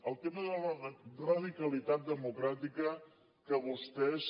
el tema de la radicalitat democràtica que vostès